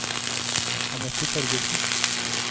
Annette Torgersen